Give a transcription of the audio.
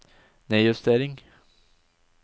nedjustering